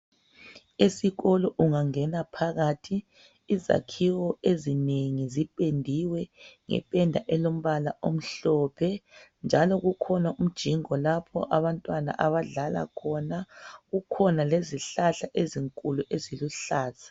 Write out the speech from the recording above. Esikolo ungangena phakathi izakhiwo ezinengi zipendiwe ngependa elombala omhlophe. Njalo kukhona umjingo lapho abantwana abadlala khona . Kukhona lezihlahla ezinkulu eziluhlaza.